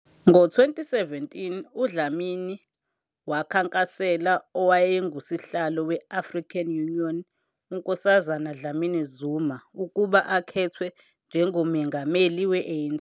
Ngo-2017 uDlamini wakhankasela owayenguSihlalo we- African Union uNkosazana Dlamini-Zuma ukuba akhethwe njengomengameli we-ANC.